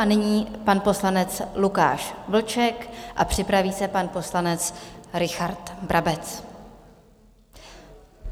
A nyní pan poslanec Lukáš Vlček a připraví se pan poslanec Richard Brabec.